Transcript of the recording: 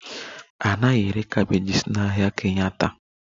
A naghị ere cabbages n'ahịa Kenyatta